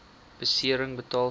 besering betaal sou